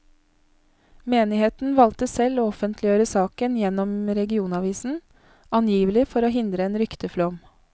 Menigheten valgte selv å offentliggjøre saken gjennom regionavisen, angivelig for å hindre en rykteflom.